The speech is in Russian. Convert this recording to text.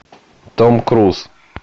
том круз